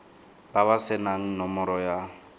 ba ba senang nomoro ya